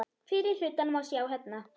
Fyrri hlutan má sjá hérna.